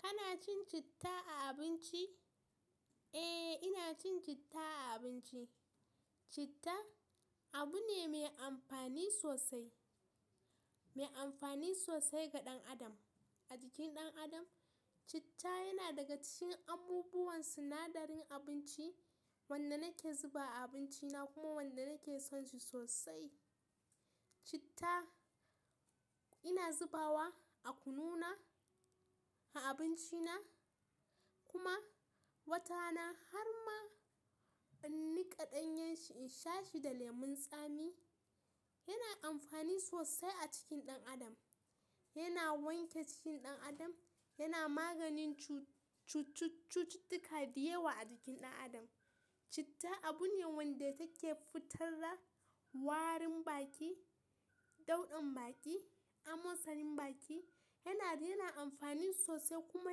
Kana cin citta a abinci? Eh, ina cin citta a abinci. Citta abu ne mai amfani sosai, mai amfani sosai ga ɗan adam. A jikin ɗan adam, citta yana daga cikin abubuwan sinadarin abinci wanda nake zuba a abinci na kuma wanda nake son shi sosai. Citta ina zubawa a kunu na, a abinci na kuma wata na har ma in nika ɗanyen shi in sha shi da lemun tsami. Yana amfani sosai a cikin ɗan adam. Yana wanke cikin ɗan adam, yana maganin cu-cucuttuka diyawa a jikin ɗan adam. Citta abu ne wanda take fitarda warin baki, dauɗan baki, amosanin baki. Yana, yana amfani sosai kuma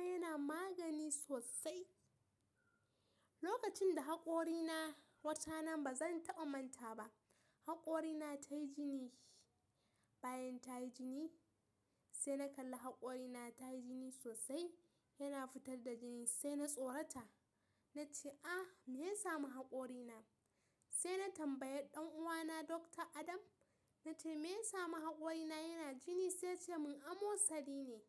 yana magani sosai. Lokacin da haƙori na, watarana ba zan taɓa manta ba, haƙori na ta yi jini. Bayan ta yi jini sai na kalla haƙori na ta yi jini sosai, yana fitar da jini sai na tsorata. Na ce, "Ah, me ya samu haƙori na?" Sai na tambaya ɗan uwa na Doctor Adam. Na ce, "Me ya samu haƙori na yana jini?" Sai ya ce mun, "Amosari ne."